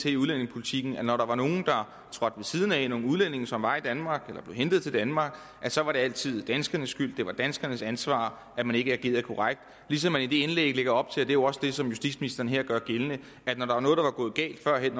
i udlændingepolitikken at når der var nogle udlændinge der trådte ved siden af nogle udlændinge som var i danmark eller som blev hentet til danmark så var det altid danskernes skyld det var danskernes ansvar at man ikke agerede korrekt ligesom man i det indlæg lægger op til det jo også det som justitsministeren her gør gældende at når der var noget der var gået galt førhen